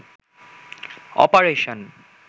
operation